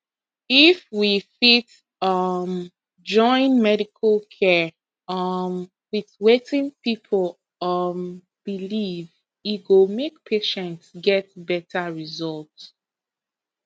if we fit um join medical care um with wetin people um believe e go make patients get better result